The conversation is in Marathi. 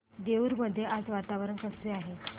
देऊर मध्ये आज वातावरण कसे आहे